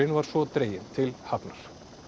var svo dreginn til hafnar